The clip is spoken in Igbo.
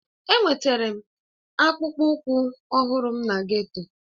Enwetara m akpụkpọ ụkwụ ọhụrụ m na geto